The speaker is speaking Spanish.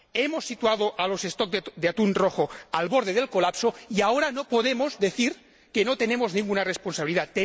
Hemos situado a los stock de atún rojo al borde del colapso y ahora no podemos decir que no tenemos ninguna responsabilidad.